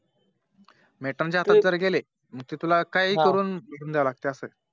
Matern च्या हातात जर गेले तर तुला काहीही करून जावे लागते असं